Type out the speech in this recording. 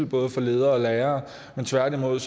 både for ledere og lærere men tværtimod